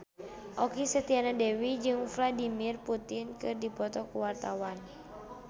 Okky Setiana Dewi jeung Vladimir Putin keur dipoto ku wartawan